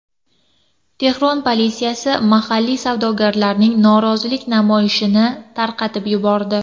Tehron politsiyasi mahalliy savdogarlarning norozilik namoyishini tarqatib yubordi.